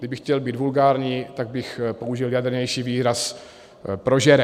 Kdybych chtěl být vulgární, tak bych použil jadrnější výraz prožere.